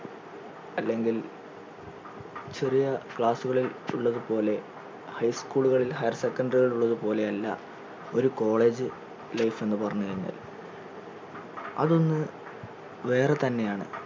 അല്ലെങ്കിൽ ചെറിയ class കളിൽ ഉള്ളത് പോലെ high school കളിൽ higher secondary കളിൽ ഉള്ളത് പോലെയല്ല ഒരു college life എന്ന് പറഞ്ഞു കഴിഞ്ഞാൽ അതൊന്ന് വേറെ തന്നെയാണ്